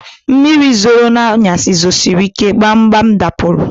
Mmiri zoro na anyasị zosirike, gbam gbam m dapụrụ